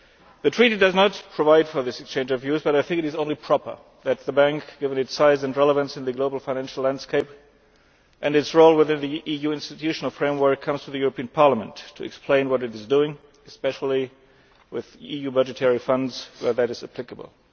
The Treaty does not provide for this exchange of views, but I think it is only proper that the Bank, given its size and relevance in the global financial landscape and its role within the EU institutional framework, comes to the European Parliament to explain what it is doing, especially with EU budgetary funds, where that is applicable.